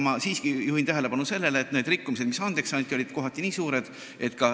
Ma siiski juhin tähelepanu sellele, et need rikkumised, mis andeks anti, olid kohati väga suured.